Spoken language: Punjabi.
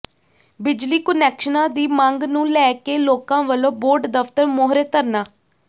ਬਿਜਲੀ ਕੁਨੈਕਸ਼ਨਾਂ ਦੀ ਮੰਗ ਨੂੰ ਲੈ ਕੇ ਲੋਕਾਂ ਵਲੋਂ ਬੋਰਡ ਦਫਤਰ ਮੂਹਰੇ ਧਰਨਾ